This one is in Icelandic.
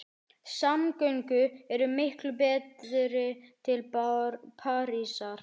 Samgöngur eru miklu betri til Parísar.